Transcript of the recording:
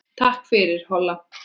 Takk fyrir, Holla.